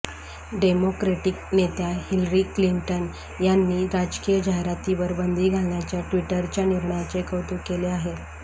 democratic नेत्या Hillary Clinton यांनी राजकीय जाहिरातींवर बंदी घालण्याच्या ट्विटरच्या निर्णयाचे कौतुक केले आहे